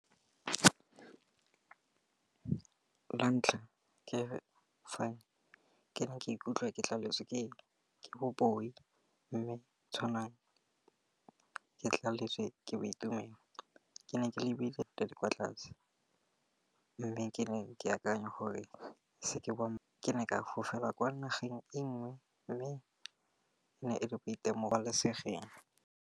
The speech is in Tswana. La ntlha ke fa ke ne ke ikutlwa ke tlaletswe ke bo booi mme tshwanang ke tlaletswe ke boitumelo. Ke ne ke lebile di kwa tlase mme ke ne ke akanya gore ke ne ke fofela kwa nageng e nngwe mme ne e le boitemolesegeng.